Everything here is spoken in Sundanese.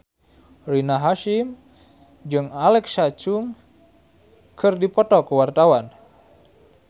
Rina Hasyim jeung Alexa Chung keur dipoto ku wartawan